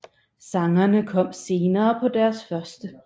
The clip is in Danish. Sangene kom senere på deres første